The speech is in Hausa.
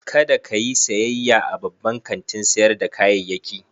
Kada ka yi sayayya a babban kantin sayar da kayayyaki.